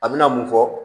A bɛna mun fɔ